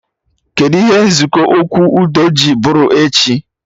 Kedụ ihe nzukọ okwu udo ji bụrụ echi